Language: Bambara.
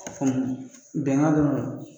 bɛngan